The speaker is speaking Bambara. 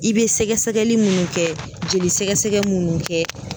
I bɛ sɛgɛsɛgɛli minnu kɛ jolisɛgɛsɛgɛ minnu kɛ